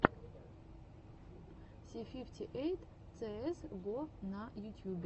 си фифти эйт цээс го на ютьюбе